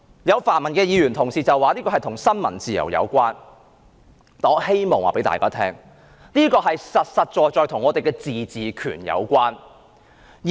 有泛民議員說這與新聞自由有關，但我告訴大家，這實在與香港的自治權有關。